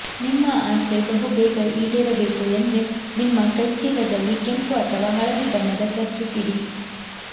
ನಿಮ್ಮ ಆಸೆ ಬಹು ಬೇಗ ಈಡೇರಬೇಕು ಎಂದ್ರೆ ನಿಮ್ಮ ಕೈಚೀಲದಲ್ಲಿ ಕೆಂಪು ಅಥವಾ ಹಳದಿ ಬಣ್ಣದ ಕರ್ಚೀಪ್ ಇಡಿ